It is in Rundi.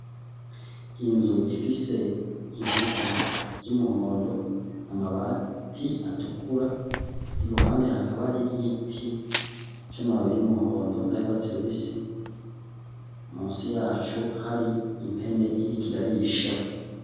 Inzu ifise inkuta z'umuhondo, amabati atukura, iruhande hakaba hariho igiti c'amababi y'umuhondo n'ayurwatsi rubisi, musi yaco hari impene iriko irarisha.